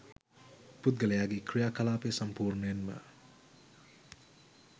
පුද්ගලයාගේ ක්‍රියා කලාපය සම්පූර්ණයෙන්ම